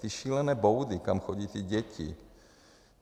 Ty šílené boudy, kam chodí ty děti.